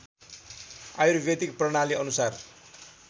आयुर्वेदिक प्रणाली अनुसार